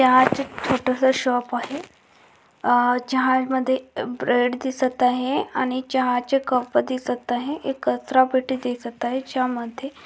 चहा चा एक छोटा सा शॉप आहे आ चाहा मधे ब्रेड दिसत आहे आणि चहा चे कप दिसत आहे. एक कचरा पेटी दिसत आहे ज्या मध्ये--